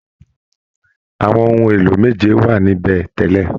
Àwọn ohun èlò méje wà nibẹ tẹ́lẹ̀